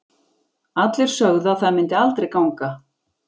Allir sögðu að það myndi aldrei ganga.